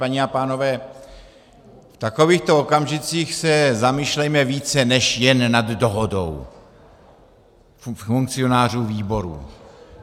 Paní a pánové, v takovýchto okamžicích se zamýšlejme více než jen nad dohodou funkcionářů výborů.